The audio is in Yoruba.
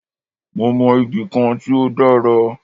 Mó mọ ibì kan tí o dára.